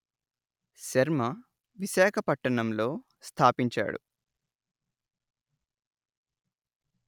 శర్మ విశాఖపట్టణం లో స్థాపించాడు